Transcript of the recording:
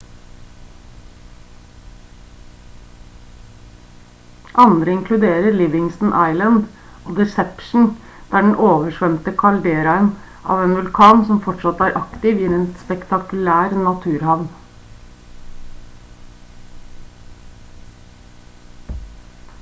andre inkluderer livingston island og deception der den oversvømte kalderaen av en vulkan som fortsatt er aktiv gir en spektakulær naturhavn